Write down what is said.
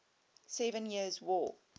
seven years war